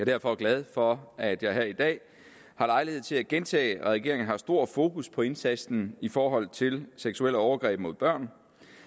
derfor glad for at jeg her i dag har lejlighed til at gentage at regeringen har stor fokus på indsatsen i forhold til seksuelle overgreb mod børn